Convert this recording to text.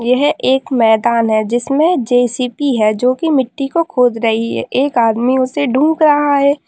यह एक मैदान है जिसमें जे.सी.बी. है जो की मिट्टी को खोद रही है एक आदमी उसे ढूंढ रहा है।